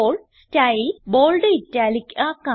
ഇപ്പോൾ style bold italic ആക്കാം